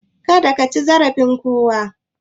Kada kaci zarafin kowa